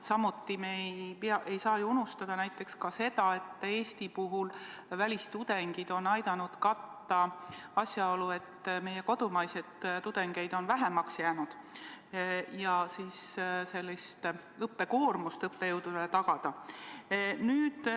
Samuti ei saa me unustada seda, et näiteks Eesti puhul on välistudengid aidanud leevendada asjaolu, et meie kodumaiseid tudengeid on vähemaks jäänud, ja tagada õppejõududele suurem õpetamiskoormus.